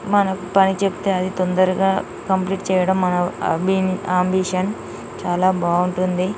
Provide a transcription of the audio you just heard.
మనకు పని చెప్తే అది తొందరగా కంప్లీట్ చేయడం మన బి అంబిషన్ చాలా బావుంటుంది .